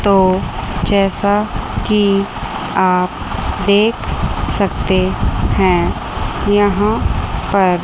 तो जैसा की आप देख सकते हैं यहां पर--